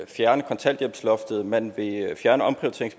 fjerne kontanthjælpsloftet man